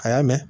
A y'a mɛn